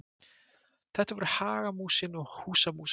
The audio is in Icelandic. þetta voru hagamúsin og húsamúsin